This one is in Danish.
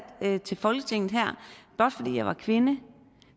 til folketinget blot fordi jeg er kvinde